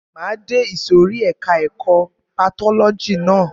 Máa de ìsòrí ẹka ẹ̀kọ́ patọ́lọ́jì ná.